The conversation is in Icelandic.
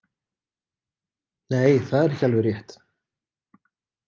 Nei, það er ekki alveg rétt.